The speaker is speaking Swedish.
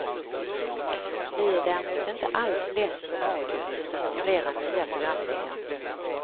Vi är däremot inte alls less på radio utan har flera nya programideer.